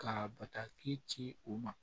Ka bataki ci u ma